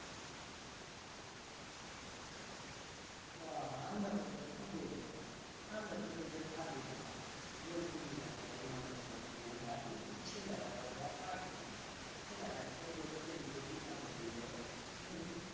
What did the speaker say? হ আমরা তো ধর কি বৈলতো আমরা তো নিজের ভাবি এ না বহীন গীলা কের মার দের কথা গিলা ভাবি মানে ছেলে রা ধর ভাবেনা ছেলে গিলা বিহা কৈর লিবে